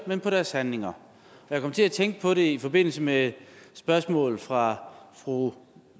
men på deres handlinger jeg kom til at tænke på det i forbindelse med spørgsmålet fra fru